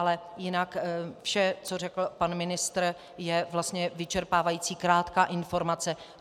Ale jinak vše, co řekl pan ministr, je vlastně vyčerpávající krátká informace.